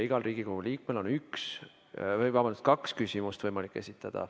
Igal Riigikogu liikmel on võimalik esitada kaks küsimust.